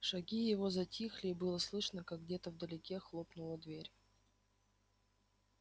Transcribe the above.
шаги его затихли и было слышно как где-то вдалеке хлопнула дверь